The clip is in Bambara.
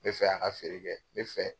N be fɛ a ka feere kɛ, ne fɛ